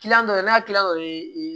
dɔ de n'a kilan o ye